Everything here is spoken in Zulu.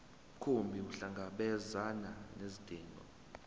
mkhumbi ukuhlangabezana nezidingo